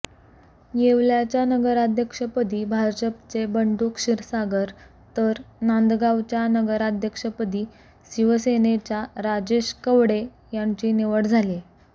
येवल्याच्या नगराध्यक्षपदी भाजपचे बंडू क्षीरसागर तर नांदगावच्या नगराध्यक्षपदी शिवसेनेच्या राजेश कवडे यांची निवड झालीये